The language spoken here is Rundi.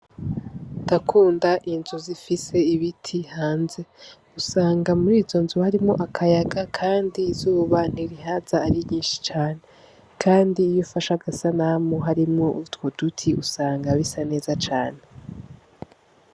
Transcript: Ndakunda inzu zifise ibiti hanze, usanga muri izo nzu harimwo akayaga kandi izuba ntirihaza ari ryinshi cane kandi iyo ufashe agasanamu harimwo utwo duti usanga bisa neza cane.